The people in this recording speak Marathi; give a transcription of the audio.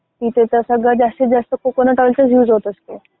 तिथे तर सगळं जास्तितजास्त कोकोनट ऑइलचा युज होत असतो.